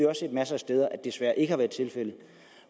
har set masser af steder